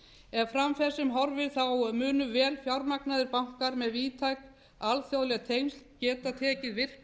ef fram fer sem horfir munu vel fjármagnaðir bankar með víðtæk alþjóðleg tengsl geta tekið virkan